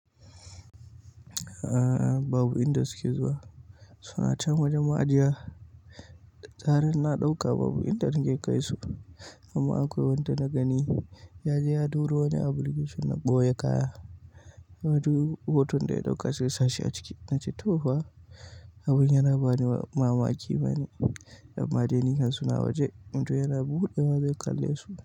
Aaa, babu inda suke zuwa, suna can wajen ma ajiya. Zarar na ɗauka babu inda zan iya kai su, amma akwai wanda na gani ya je ya ɗoro wani application na ɓoye kaya. Wato hoton da ya ɗauka sai ya sashi a ciki. Nace to fa, abun yana bani mamaki ma ni. Amma dai kam suna waje, inda yana buɗe wa zan kalle su.